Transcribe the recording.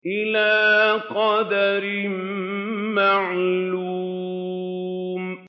إِلَىٰ قَدَرٍ مَّعْلُومٍ